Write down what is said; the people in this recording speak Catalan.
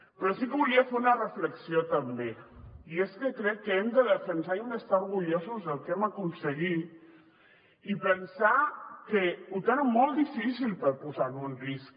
però sí que volia fer una reflexió també i és que crec que hem de defensar i hem d’estar orgullosos del que hem aconseguit i pensar que ho tenen molt difícil per posar ho en risc